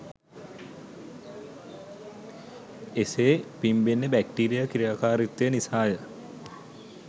එසේ පිම්බෙන්නේ බැක්ටීරියා ක්‍රියාකාරීත්වය නිසාය.